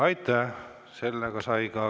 Aitäh!